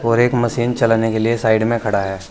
और एक मशीन चलाने के लिए साइड में खड़ा है।